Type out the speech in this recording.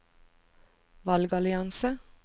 valgallianse